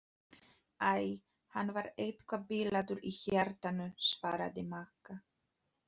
Æ, hann var eitthvað bilaður í hjartanu svaraði Magga.